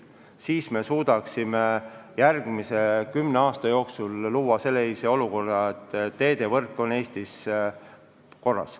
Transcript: Siis me suudaksime järgmise kümne aasta jooksul luua sellise olukorra, et teedevõrk on Eestis korras.